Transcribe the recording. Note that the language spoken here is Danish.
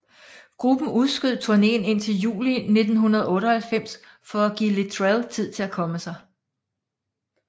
Gruppen udskød turnéen indtil juli 1998 for at give Littrell tid til at komme sig